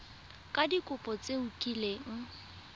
ka dikopo tse o kileng